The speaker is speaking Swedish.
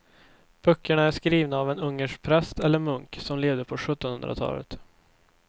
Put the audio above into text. Böckerna är skrivna av en ungersk präst eller munk som levde på sjuttonhundratalet.